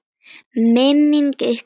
Minning ykkar lifir.